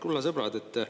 Kulla sõbrad!